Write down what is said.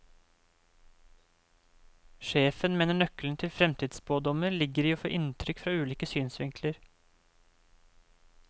Sjefen mener nøkkelen til fremtidsspådommer ligger i å få inntrykk fra ulike synsvinkler.